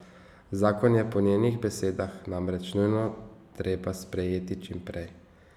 Zakon je po njenih besedah namreč nujno treba sprejeti čim prej.